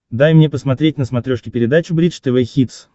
дай мне посмотреть на смотрешке передачу бридж тв хитс